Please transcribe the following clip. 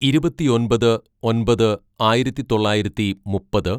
"ഇരുപത്തിയൊമ്പത് ഒന്‍പത് ആയിരത്തിതൊള്ളായിരത്തി മുപ്പത്‌